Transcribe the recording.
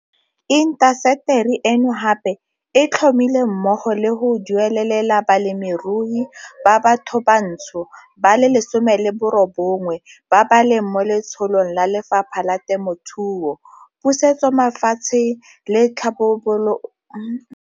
Intaseteri eno gape e tlhomile mmogo le go duelelela balemirui ba bathobantsho ba le 19 ba ba leng mo letsholong la Lefapha la Temothuo, Pusetsomafatshe le Tlhabololo ya Metsemagae dithuto tsa go ithutela kgwebo, o tlhalosa jalo.